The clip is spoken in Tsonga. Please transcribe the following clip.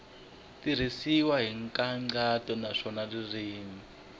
tirhisiwile hi nkhaqato naswona ririmi